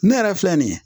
Ne yɛrɛ filɛ nin ye